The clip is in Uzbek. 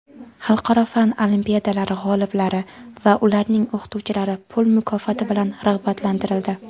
xalqaro fan olimpiadalari g‘oliblari va ularning o‘qituvchilari pul mukofoti bilan rag‘batlantirildi.